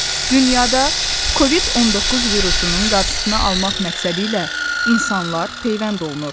Dünyada Covid-19 virusunun qarşısını almaq məqsədilə insanlar peyvənd olunur.